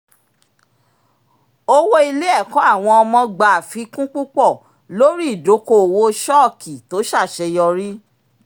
owó ilé-ẹ̀kọ́ àwọn ọmọ gbà àfikún púpọ̀ látàrí ìdókòòwò ṣọ́ọ̀kì tó ṣàṣeyọrí